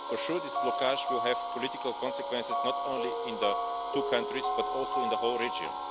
For sure this blockage will have political consequences, not only in the two countries but also in the whole region.